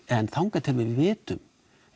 en þangað til við vitum